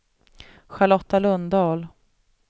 Charlotta Lundahl